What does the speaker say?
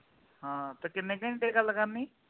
ਹਾ ਤੇ ਕੀਨੇ ਘੰਟੇ ਗੱਲ ਕਰਨੀ ਆ